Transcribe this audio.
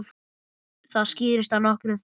Það skýrist af nokkrum þáttum.